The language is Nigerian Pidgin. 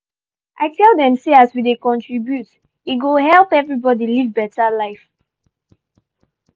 i tell dem say as we dey contribute e go help everybody live beta life.